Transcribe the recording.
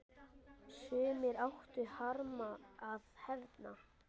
Sumir áttu harma að hefna.